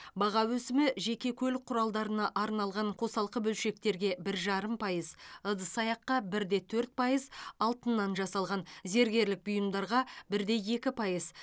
баға өсімі жеке көлік құралдарына арналған қосалқы бөлшектерге бір жарым пайыз ыдыс аяққа бір де төрт пайыз алтыннан жасалған зергерлік бұйымдарға бір де екі пайыз